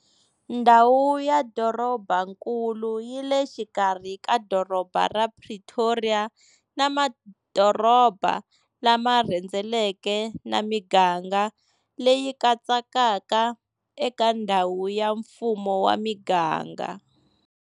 Ndhawu ya dorobankulu yi le xikarhi ka doroba ra Pretoria na madoroba lama rhendzeleke na miganga leyi katsekaka eka ndhawu ya mfumo wa miganga.